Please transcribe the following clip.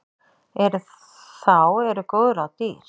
En þá eru góð ráð dýr.